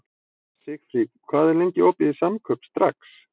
Sigfríð, hvað er lengi opið í Samkaup Strax?